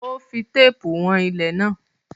Ó fí teepu wọ̀n ilẹ̀ náà